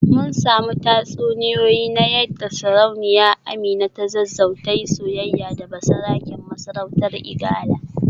Mun samu tatsuniyoyi na yadda Sarauniyar Amina ta Zazzau ta yi soyayya da basaraken masarautar Igala